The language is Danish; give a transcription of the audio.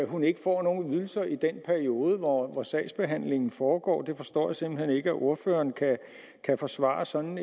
hun ikke får nogen ydelser i den periode hvor sagsbehandlingen foregår jeg forstår simpelt hen ikke at ordføreren kan forsvare sådan